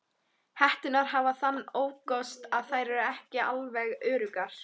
Hetturnar hafa þann ókost að þær eru ekki alveg öruggar.